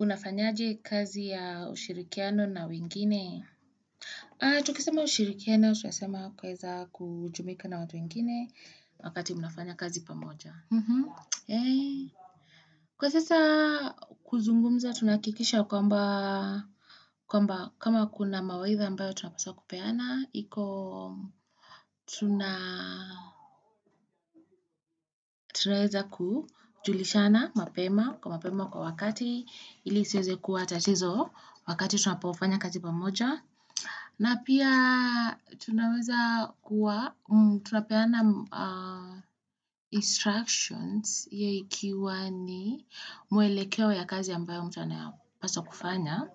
Unafanyaje kazi ya ushirikiano na wengine? Tukisema ushirikiano, tunasema kuweza kujumuika na watu wengine wakati unafanya kazi pamoja. Kwa sasa kuzungumza, tunahakikisha kwamba kama kuna mawaitha ambayo tunapaswa kupeana, hiko tunaeza kujulishana mapema kwa mapema kwa wakati ili isi eze kuwa tatizo wakati tunapofanya kazi pamoja. Na pia tunaweza kuwa, tunapeana instructions yaikiwa ni mwelekeo ya kazi ambayo mtu anayapasa kufanya